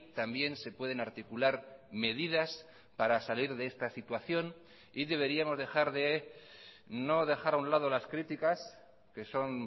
también se pueden articular medidas para salir de esta situación y deberíamos dejar de no dejar a un lado las críticas que son